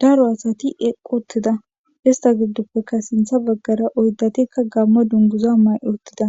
daro asati eqotida ista giddoppeka sintha baggara oyddatikka gammo dunguza may7uttida